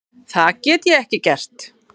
Það get ég ekki gert.